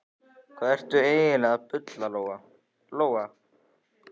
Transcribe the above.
Hvað ertu eiginlega að bulla, Lóa-Lóa?